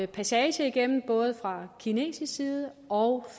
passage igennem af både fra kinesisk side og